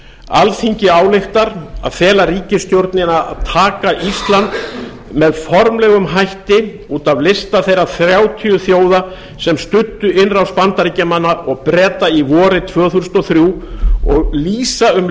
alþingi ályktar að fela ríkisstjórninni að taka ísland með formlegum hætti út af lista þeirra þrjátíu þjóða sem studdu innrás bandaríkjamanna og breta í írak vorið tvö þúsund og þrjú og lýsi því yfir